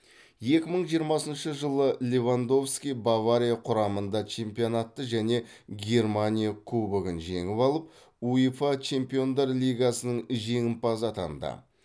екі мың жиырмасыншы жылы левандовски бавария құрамында чемпионатты және германия кубогын жеңіп алып уефа чемпиондар лигасының жеңімпазы атанды